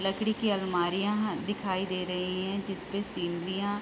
लकड़ी की अलमारियाँ दिखाई दे रही है जिसपे सीनरीयां --